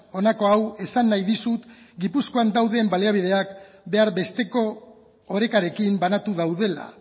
honako hau esan nahi dizut gipuzkoan dauden baliabideak behar besteko orekarekin banatu daudela